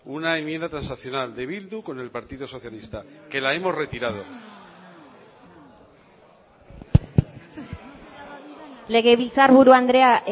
una enmienda transaccional de bildu con el partido socialista que la hemos retirado legebiltzarburu andrea